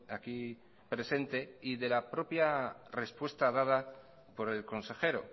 aquí presente y de la propia respuesta dada por el consejero